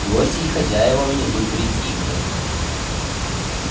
гости и хозяева внизу притихли